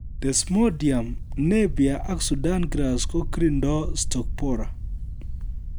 Desmodium, Napier ak Sudan grass korindoi Stalk borer